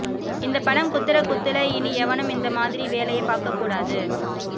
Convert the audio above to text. இந்த படம் குத்துற குத்துல இனி எவனும் இந்த மாதிரி வேலைய பாக்க கூடாது